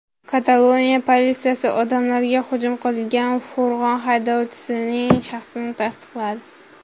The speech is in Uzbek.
Kataloniya politsiyasi odamlarga hujum qilgan furgon haydovchisining shaxsini tasdiqladi.